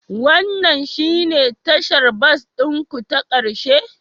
Wannan shine tashar bas ɗin ku ta ƙarshe?